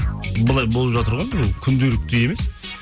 былай болып жатыр ғой күнделікті емес